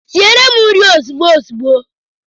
Siere m nri ozigbo ozigbo